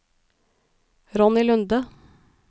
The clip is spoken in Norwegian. Ronny Lunde